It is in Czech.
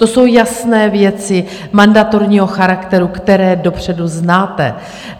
To jsou jasné věci mandatorního charakteru, které dopředu znáte.